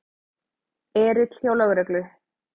Erill hjá lögreglu